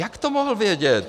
Jak to mohl vědět?